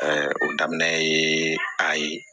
o daminɛ ye a ye